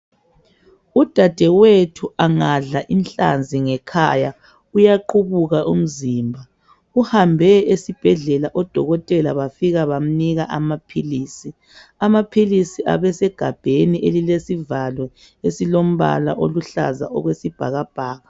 Udadewethu angadla inhlanzi ngekhaya uyaqubula umzimba. Uhambe esibhedlela odokotela bafika bamnika amaphilisi. Amaphilisi ebesemagabheni elilesivalo esilombala oluhlaza okwesibhakabhaka.